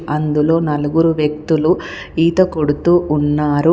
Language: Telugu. అందులో నలుగురు వ్యక్తులు ఈత కొడుతూ ఉన్నారు.